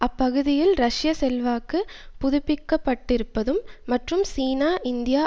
அப்பகுதியில் ரஷ்ய செல்வாக்கு புதுப்பிக்கப்பட்டிருப்பதும் மற்றும் சீனா இந்தியா